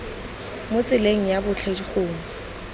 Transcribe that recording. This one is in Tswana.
mo tseleng ya botlhe gongwe